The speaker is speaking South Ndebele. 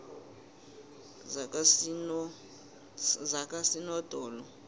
zakosinodolo